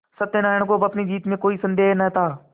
सत्यनाराण को अब अपनी जीत में कोई सन्देह न था